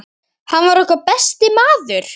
Hann var okkar besti maður.